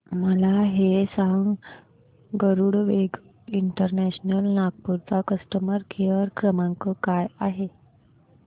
मला हे सांग गरुडवेग इंटरनॅशनल नागपूर चा कस्टमर केअर क्रमांक काय आहे